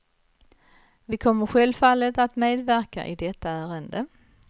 Vi kommer självfallet att medverka i detta ärende.